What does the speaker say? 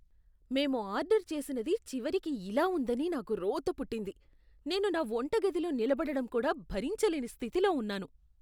మేం ఆర్డరు చేసినది చివరికి ఇలా ఉందని నాకు రోత పుట్టింది. నేను నా వంటగదిలో నిలబడడం కూడా భరించలేని స్థితిలో ఉన్నాను.